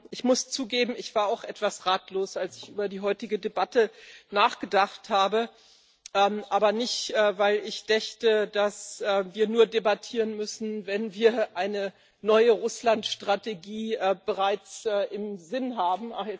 Ich muss zugeben, ich war auch etwas ratlos, als ich über die heutige Debatte nachgedacht habe, aber nicht, weil ich dächte, dass wir nur debattieren müssen, wenn wir eine neue Russlandstrategie bereits im Sinn haben.